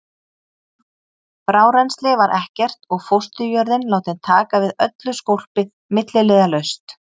Frárennsli var ekkert og fósturjörðin látin taka við öllu skólpi milliliðalaust.